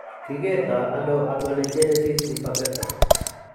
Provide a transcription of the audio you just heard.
Kikerto ano amelogenesis imperfecta?